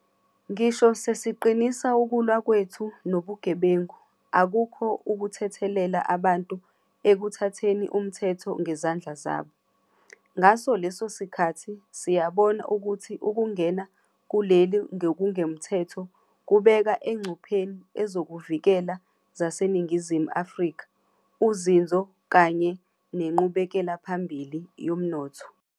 Ngisho sesiqinisa ukulwa kwethu nobugebengu, akukho ukuthethelela abantu ekuthatheni umthetho ngezandla zabo. Ngaso leso sikhathi, siyabona ukuthi ukungena kuleli ngokungemthetho kubeka engcupheni ezokuvikela zaseNingizimu Afrika, uzinzo kanye nenqubekelaphambili yomnotho.